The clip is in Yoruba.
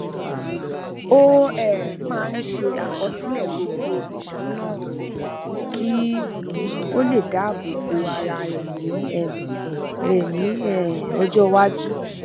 ó um máa ń ṣe àkọsílẹ gbogbo ìduná rẹ kí ó lè dáàbò bo ara rẹ ní um rẹ ní um ọjọ iwájú